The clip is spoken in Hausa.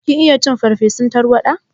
Kin iya cin farsefun tarwaɗa?